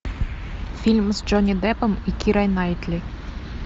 фильм с джонни деппом и кирой найтли